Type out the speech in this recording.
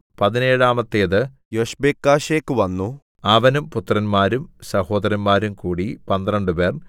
പതിനേഴാമത്തേത് യൊശ്ബെക്കാശെക്കു വന്നു അവനും പുത്രന്മാരും സഹോദരന്മാരും കൂടി പന്ത്രണ്ടുപേർ